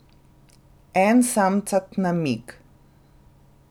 En samcat namig.